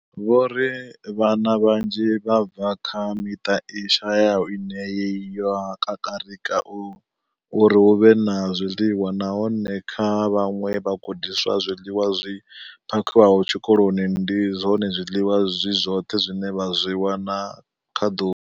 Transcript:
Vho ri Vhana vhanzhi vha bva kha miṱa i shayaho ine ya kakarika uri hu vhe na zwiḽiwa, nahone kha vhaṅwe vhagudiswa, zwiḽiwa zwi phakhiwaho tshikoloni ndi zwone zwiḽiwa zwi zwoṱhe zwine vha zwi wana kha ḓuvha.